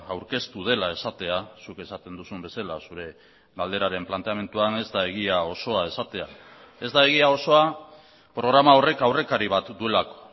aurkeztu dela esatea zuk esaten duzun bezala zure galderaren planteamenduan ez da egia osoa esatea ez da egia osoa programa horrek aurrekari bat duelako